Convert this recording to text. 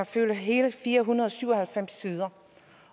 fylder hele fire hundrede og syv og halvfems sider